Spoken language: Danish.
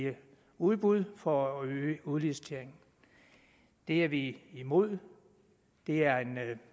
udbud for at øge udliciteringen det er vi imod det er en